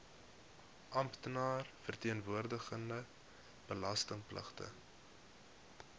amptenaar verteenwoordigende belastingpligtige